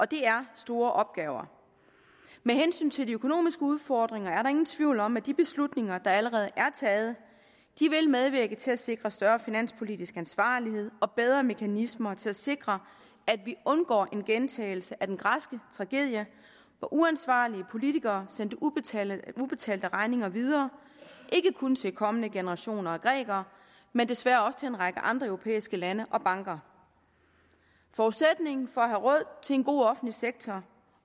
det er store opgaver med hensyn til de økonomiske udfordringer er der ingen tvivl om at de beslutninger der allerede er taget vil medvirke til at sikre større finanspolitisk ansvarlighed og bedre mekanismer til at sikre at vi undgår en gentagelse af den græske tragedie hvor uansvarlige politikere sendte ubetalte ubetalte regninger videre ikke kun til kommende generationer af grækere men desværre også til en række andre europæiske lande og banker forudsætningen for at have råd til en god offentlig sektor